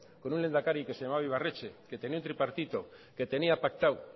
con un lehendakari que se llamaba ibarretxe que tenía un tripartito que tenía pactado